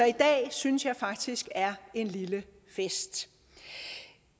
i dag synes jeg faktisk er en lille fest